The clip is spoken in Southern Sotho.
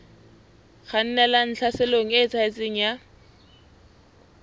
kgannelang tlhaselong e eketsehang ya